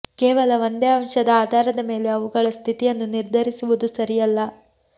ಕೇವಲ ಒಂದೇ ಅಂಶದ ಆಧಾರದ ಮೇಲೆ ಅವುಗಳ ಸ್ಥಿತಿಯನ್ನು ನಿರ್ಧರಿಸುವುದು ಸರಿಯಲ್ಲ